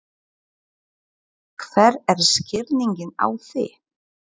Hver er skýringin á því?